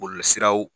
Bɔlɔlɔsiraw